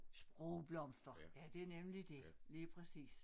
Sprogblomster ja det nemlig dét lige præcis